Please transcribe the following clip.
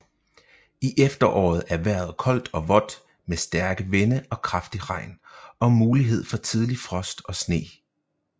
I efteråret er vejret koldt og vådt med stærke vinde og kraftig regn og mulighed for tidlig frost og sne